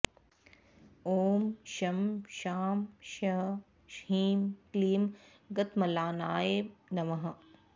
ॐ शं शां षं ह्रीं क्लीं गतम्लानाय नमः